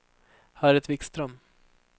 Harriet Wikström